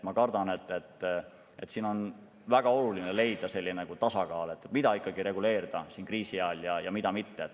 Ma kardan, et siin on väga oluline leida tasakaal, mida ikkagi nüüd kriisi ajal reguleerida ja mida mitte.